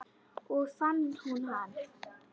Svo fann hún hann.